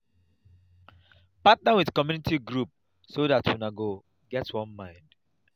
partner with community group so dat una go get one mind